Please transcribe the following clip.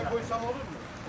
Buraya qoysam olurmu?